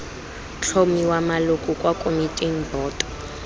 tlhomiwa maloko kwa komiting boto